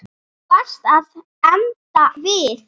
Þú varst að enda við.